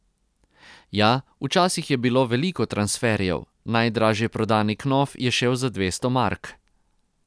Ja, včasih je bilo veliko transferjev, najdražje prodani knof je šel za dvesto mark.